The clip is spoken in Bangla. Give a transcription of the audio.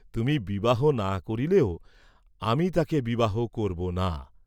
তুমি বিবাহ না করলেও আমি তাকে বিবাহ করব না!